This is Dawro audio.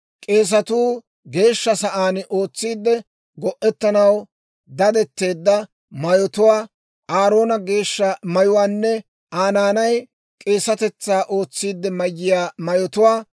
k'eesatuu Geeshsha sa'aan ootsiide go'etanaw dadetteedda mayotuwaa, Aaroone geeshsha mayuwaanne Aa naanay k'eesatetsaa ootsiidde mayiyaa mayotuwaa.